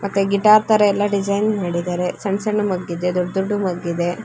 ಮತ್ತೆ ಗಿಟಾರ್ ತರ ಎಲ್ಲಾ ಡಿಸೈನ್ ಮಾಡಿದರೆ. ಸಣ್ಣ ಸಣ್ಣ ಮಗ್ ಇದೆ ದೊಡ್ಡ ದೊಡ್ಡ ಮಗ್ ಇದೆ.